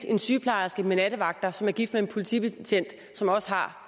en sygeplejerske med nattevagter som er gift med en politibetjent som også har